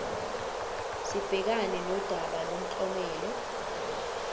sibhekane nodaba lomklomelo